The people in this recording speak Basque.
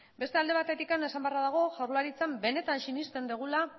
beste alde batetik esan beharra dago jaurlaritzan benetan sinesten dugula